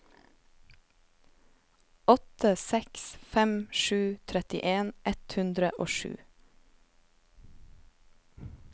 åtte seks fem sju trettien ett hundre og sju